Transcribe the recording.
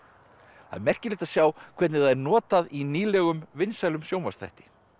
það er merkilegt að sjá hvernig það er notað í nýlegum vinsælum sjónvarpsþætti